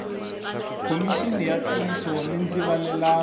khomixini ya ntiyiso ni ndzivalelano